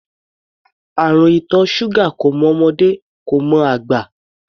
Àrùn ìtọ̀ ṣúgà kò mọ ọmọdé, kò mọ àgbà.